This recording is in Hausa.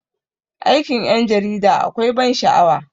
Aikin 'yan jarida akwai ban sha'awa.